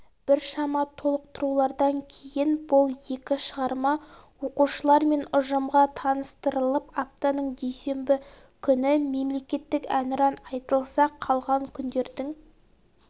біршама толықтырулардан кейін бұл екі шығарма оқушылар мен ұжымға таныстырылып аптаның дүйсенбі күні мемлекеттік әнұран айтылса қалған күндердің